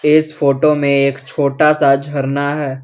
इस फोटो में एक छोटा सा झरना है।